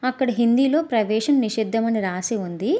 అక్కడ హిందీలో ప్రవేశం నిషేధం అని రాసి ఉంది.